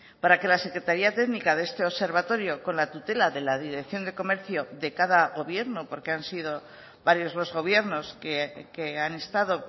para que la secretaría técnica de este observatorio con la tutela de la dirección de comercio de cada gobierno porque han sido varios los gobiernos que han estado